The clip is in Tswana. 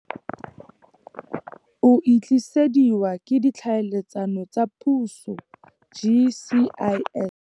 O e tlisediwa ke Ditlhaeletsano tsa Puso, GCIS..